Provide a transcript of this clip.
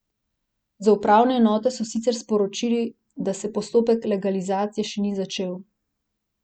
Z upravne enote so sicer sporočili, da se postopek legalizacije še ni začel.